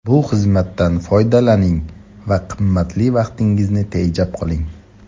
Bu xizmatdan foydalaning va qimmatli vaqtingizni tejab qoling.